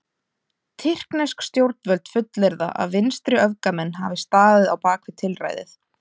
Tyrknesk stjórnvöld fullyrða að vinstriöfgamenn hafi staðið á bak við tilræðið.